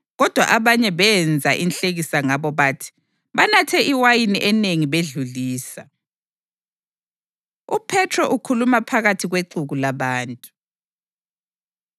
Kodwa abanye benza inhlekisa ngabo bathi, “Banathe iwayini enengi bedlulisa.” UPhethro Ukhuluma Phakathi Kwexuku Labantu